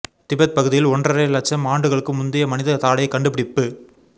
Tibet பகுதியில் ஒன்றரை லட்சம் ஆண்டுகளுக்கு முந்தைய மனித தாடை கண்டுபிடிப்பு